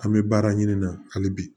An bɛ baara ɲini na hali bi